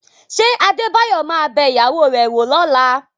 Ṣé Adébáyọ̀ ma bẹ ìyàwó rẹ̀ wò lọ́la?